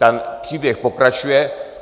Ten příběh pokračuje.